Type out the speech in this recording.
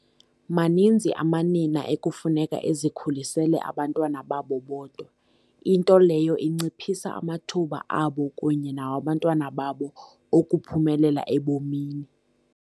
Maninzi amanina ekufuneka ezikhulisele abantwana babo bodwa, into leyo inciphisa amathuba abo kunye nawabantwana babo okuphumelela ebomini.